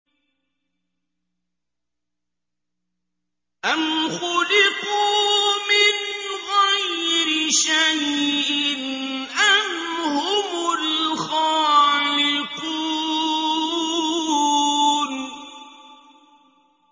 أَمْ خُلِقُوا مِنْ غَيْرِ شَيْءٍ أَمْ هُمُ الْخَالِقُونَ